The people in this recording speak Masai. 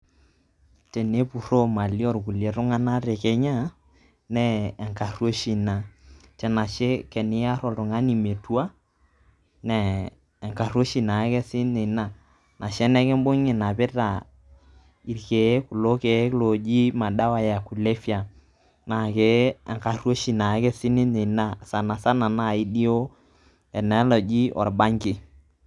Tenepuroo imali oo kulie tung'anak te Kenya naa enkaruoishi ina. tenashe teniar oltung'ani metua na enkaruoishi naake sii ninye ina, ashu enikumbung'i inapita irkeek, kulo keek looji madawa ya kulevia naa enkaruoshi naa ake sii ninye ina sana sana naaji duo ena naji orbanki.